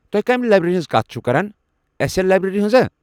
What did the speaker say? تُہۍ كمہِ لایبریری ہنز كتھ چھِوٕ كران ، اٮ۪س اٮ۪ل لایبریٚری ہنز ہا؟